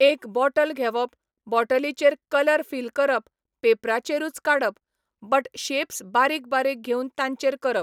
एक बोटल घेवप, बोटलीचेर कलर फिल करप पेपराचेरूच काडप, बट शेप्स बारीक बारीक घेवन तांचेर करप.